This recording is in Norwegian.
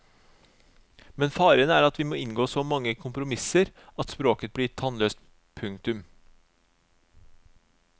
Men faren er at vi må inngå så mange kompromisser at språket blir tannløst. punktum